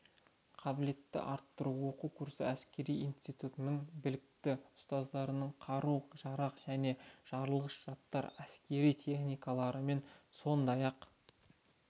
қабілетін арттыру оқу курсы әскери институттың білікті ұстаздарының қару-жарақ және жарылғыш заттар әскери техникалармен сондай-ақ